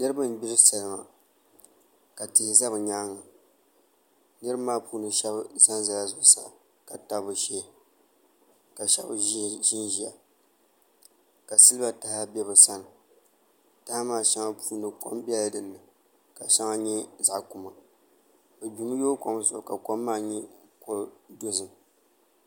Niraba n gbiri salima ka tihi ʒɛ bi nyaanga niraba maa puuni shab ʒɛnʒɛla zuɣusaa ka tabi bi shee ka so ʒiya ka silba taha bɛ bi sani taha maa puuni shɛli kom biɛla dinni ka shɛŋa nyɛ zaɣ kuma bi gbimi yooi kom zuɣu ka kom maa nyɛ zaɣ dozim